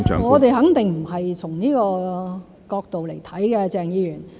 我們肯定不是從這個角度來看的，鄭議員。